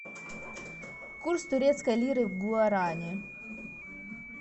курс турецкой лиры в гуарани